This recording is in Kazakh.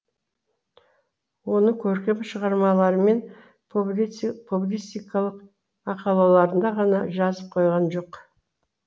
оны көркем шығармалары мен публицистикалық мақалаларында ғана жазып қойған жоқ